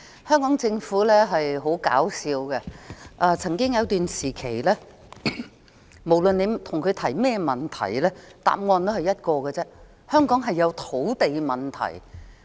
香港政府很搞笑，曾經有一段時期，不論我們向當局提出甚麼問題，當局也只得一個答案：香港有土地問題。